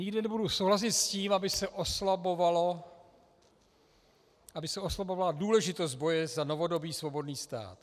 Nikdy nebudu souhlasit s tím, aby se oslabovala důležitost boje za novodobý svobodný stát.